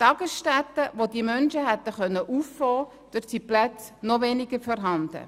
In Tagesstätten, die diese Menschen hätten auffangen können, gibt es zu wenige Plätze.